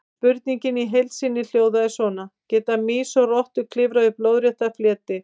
Spurningin í heild sinni hljóðaði svona: Geta mýs og rottur klifrað upp lóðrétta fleti?